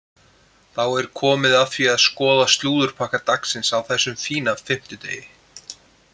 Þá er komið að því að skoða slúðurpakka dagsins á þessum fína fimmtudegi.